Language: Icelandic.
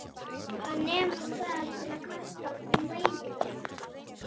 Hann nemur staðar til að kasta mæðinni.